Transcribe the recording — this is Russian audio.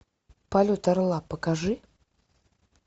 полет орла покажи